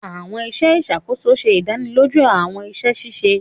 Awọn iṣẹ ìṣàkóso ṣe ìdánilójú awọn iṣẹ ṣiṣe